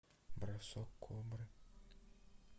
бросок кобры